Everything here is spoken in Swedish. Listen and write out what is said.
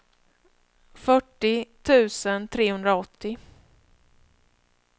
fyrtio tusen trehundraåttio